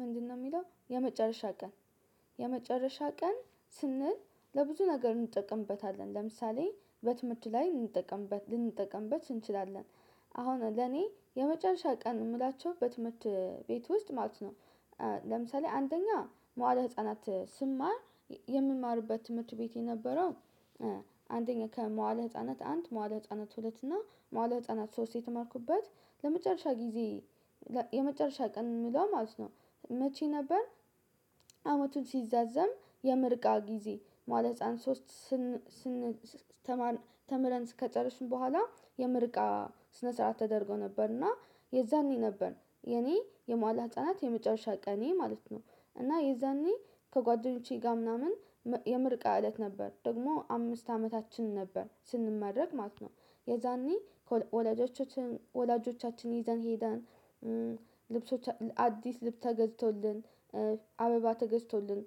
ምንድነው የሚለው የመጨረሻ ቀን የመጨረሻ ቀን ስንል ለብዙ ነገር እንጠቀምበታለን ለምሳሌ በትምህርት ላይ እንጠቀምበት ልንጠቀምበት እንችላለን። አሁን ለኔ የመጨረሻ ቀን የምላቸው በትምህርት ቤት ውስጥ ማለት ነው። ለምሳሌ አንደኛ መዋለ ህፃናት ስማር የምማርበት ትምህርት ቤት የነበረው አንደኛ ከመዋለ ህፃናት አንድ መዋለ ህፃናት ሁለት እና መዋለ ህፃናት ሶስት የተማርኩበት ለመጨረሻ ጊዜ። የመጨረሻ ቀን የምለው ማለት ነው መቼ ነበር? አመቱን ሲዛዘም የምርቃ ጊዜ ማለት ህፃን ሶስት ተምረን ከጨረስን በኋላ የምርቃ ስነ ስርዓት ተደርጎ ነበርና የዛኔ ነበር የኔ የመዋለ ህፃናት የመጨረሻ ቀኔ ማለት ነው። እና የዛኔ ከጓደኞቼ ጋር ምናምን የምርቃ እለት ነበር ደግሞ አምስት አመታችን ነበር ስንመረቅ ማለት ነው። የዛኔ ወላጆቻችን ወላጆቻችን ይዘን ሄደን። ልብሶች አዲስ ልብስ ተገዝቶልን አበባ ተገዝቶልን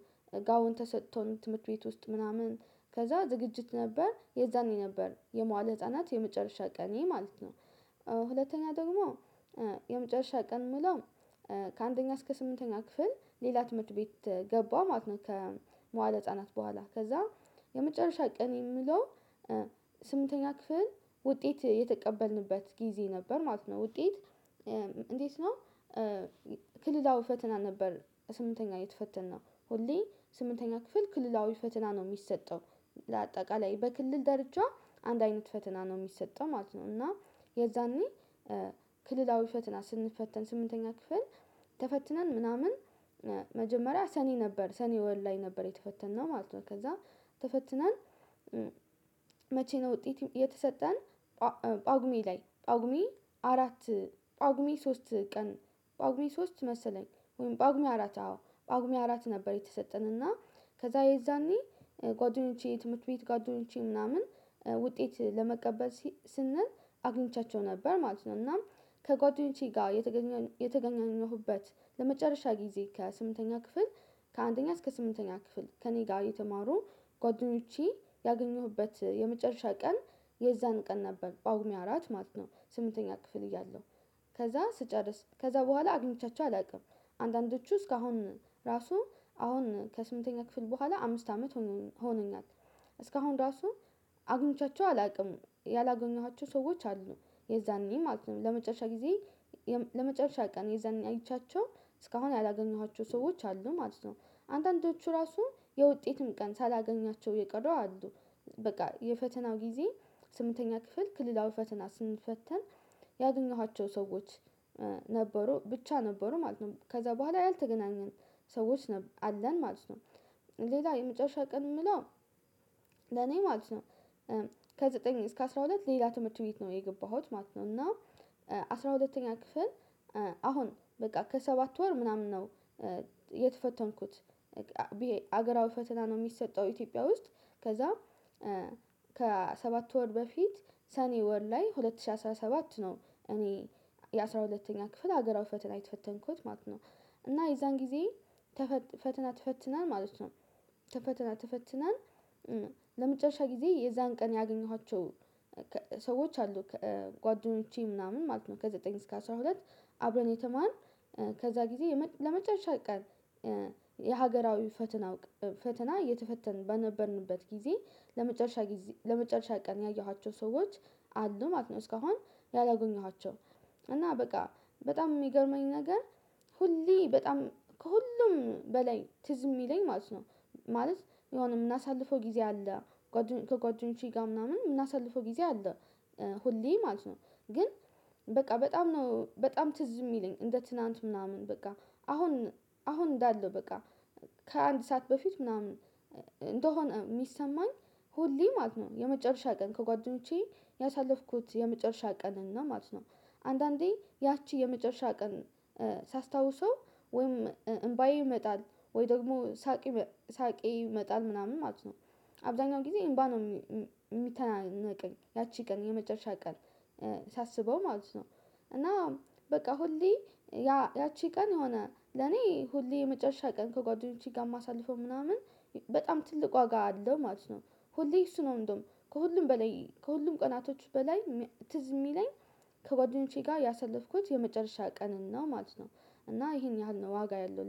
ጋውን ተሰጥቶን ትምህርት ቤት ውስጥ ምናምን ከዛ ዝግጅት ነበር የዛኔ ነበር የመዋለ ህፃናት የመጨረሻ ቀኔ ማለት ነው። ሁለተኛ ደግሞ የመጨረሻ ቀን ምለው ከአንደኛ እስከ ስምንተኛ ክፍል ሌላ ትምህርት ቤት ገባሁ ማለት ከመዋለ ህፃናት በኋላ ከዛ የመጨረሻ ቀን የምለው። ስምንተኛ ክፍል ውጤት የተቀበልንበት ጊዜ ነበር ማለት ነው ውጤት። እንዴት ነው? ክልላዊ ፈተና ነበር ስምንተኛ የተፈተንነው ሁሌ ስምንተኛ ክፍል ክልላዊ ፈተና ነው የሚሰጠው ለአጠቃላይ በክልል ደርጃ አንድ አይነት ፈተና ነው የሚሰጠው ማለት ነው። እና የዛኔ ክልላዊ ፈተና ስንፈተን ስምንተኛ ክፍል ተፈትነን ምናምን መጀመሪያ ሰኔ ነበር ሰኔ ወር ላይ ነበር የተፈተነው ማለት ነው ከዛ ተፈትነን። መቼ ነው ውጤት የተሰጠን? ጳጉሜ ላይ ጳጉሜ አራት ጳጉሜ ሶስት ቀን ጳጉሜ ሶስት መሰለኝ ወይም ጳጉሜ አራት አዎ ጳጉሜ አራት ነበር የተሰጠን እና ከዛ የዛኔ ጓደኞቼ ትምህርት ቤት ጓደኞቼ ምናምን ውጤት ለመቀበል ስንል አግኝቻቸው ነበር ማለት ነው። እና ከጓደኞቼ ጋር የተገናኘሁበት ለመጨረሻ ጊዜ ከስምንተኛ ክፍል ከአንደኛ እስከ ስምንተኛ ክፍል ከእኔ ጋር የተማሩ ጓደኞቼ ያገኘሁበት የመጨረሻ ቀን። የዛን ቀን ነበር በጳጉሜ አራት ማለት ነው። ስምንተኛ ክፍል እያለሁ ከዛ ስጨርስ ከዛ በኋላ አግኝቻቸው አላውቅም አንዳንዶቹ እስካሁን ራሱ አሁን ከስምንተኛ ክፍል በኋላ አምስት አመት ሆኖኛል። እስካሁን ራሱ አግኝቻቸው አላውቅም ያላገኘኋቸው ሰዎች አሉ የዛኔ ማለት ነው ለመጨረሻ ጊዜ ለመጨረሻ ቀን የዛን አይቻቸው እስካሁን ያላገኘኋቸው ሰዎች አሉ ማለት ነው። አንድ አንዳንዶቹ ራሱ የውጤትም ቀን ሳላገኛቸው የቀረው አሉ በቃ የፈተናው ጊዜ ስምንተኛ ክፍል ክልላዊ ፈተና ስንፈተን ያገኘኋቸው ሰዎች ነበሩ ብቻ ነበሩ ማለት ነው። ከዛ በኋላ ያልተገናኘን ሰዎች አለን ማለት ነው። ሌላ የመጨረሻ ቀን የምለው ለኔ ማለት ነው ከዘጠኝ እስከ አስራ ሁለት ሌላ ትምህርት ቤት ነው የገባሁት ማለት ነው። እና አስራ ሁለተኛ ክፍል አሁን በቃ ከሰባት ወር ምናምን ነው። የተፈተንኩት ብዬ በሀገራዊ ፈተና ነው የሚሰጠው ኢትዮጵያ ውስጥ ከዛ ከሰባት ወር በፊት ሰኔ ወር ላይ ሁለት ሺህ አስራ ሰባት ነው እኔ የአስራ ሁለተኛ ክፍል ሀገራዊ ፈተና የተፈተንኩት ማለት ነው። እና የዛን ጊዜ ፈተና ተፈትነን ማለት ነው። ፈተና ተፈትነን ለመጨረሻ ጊዜ የዛን ቀን ያገኘኋቸው ሰዎች አሉ ከጓደኞቼ ምናምን ማለት ነው። ከዘጠኝ እስከ አስራ ሁለት አብረን የተማርን ከዛ ጊዜ ለመጨረሻ ቀን የሀገራዊ ፈተና ፈተና እየተፈተንን በነበርንበት ጊዜ። ለመጨረሻ ቀን ያየኋቸው ሰዎች አሉ ማለት ነው። እስካሁን ያላገኘኋቸው እና በቃ በጣም የሚገርመኝ ነገር ሁሌ በጣም ከሁሉም በላይ ትዝ የሚለኝ ማለት ነው። ማለት የሆነ የምናሳልፈው ጊዜ አለ ከጓደኞቼ ጋር ምናምን የምናሳልፈው ጊዜ አለ። ሁሌ ማለት ነው ግን በቃ በጣም ነው በጣም ትዝ የሚለኝ እንደ ትናንት ምናምን በቃ አሁን አሁን እንዳለው በቃ ከአንድ ሰዓት በፊት ምናምን እንደሆነ የሚሰማኝ ሁሌ ማለት ነው። የመጨረሻ ቀን ከጓደኞቼ ያሳለፍኩት የመጨረሻ ቀን እና ማለት ነው። አንዳንዴ ያቺ የመጨረሻ ቀን ሳስታውሰው ወይም እምባዬ ይመጣል ወይ ደግሞ ሳቅ ሳቄ ይመጣል ምናምን ማለት ነው። አብዛኛው ጊዜ እምባ ነው የሚተናነቀኝ ያቺ ቀን የመጨረሻ ቀን ሳስበው ማለት ነው። እና በቃ ሁሌ ያቺ ቀን የሆነ ለኔ ሁሌ የመጨረሻ ቀን ከጓደኞቼ ጋር የማሳልፈው ምናምን በጣም ትልቅ ዋጋ አለው ማለት ነው። ሁሌ እሱ ነው እንደውም ከሁሉም በላይ ከሁሉም ቀናቶች በላይ ትዝ የሚለኝ ከጓደኞቼ ጋር ያሳለፍኩት የመጨረሻ ቀን ነው ማለት ነው። እና ይሄን ያህል ነው ዋጋ ያለው